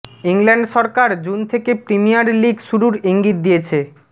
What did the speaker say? England সরকার June থেকে premier league শুরুর ইঙ্গিত দিয়েছে